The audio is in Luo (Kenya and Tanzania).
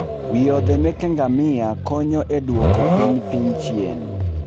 Wiodhe meke ngamia konyo e duoko piny piny chien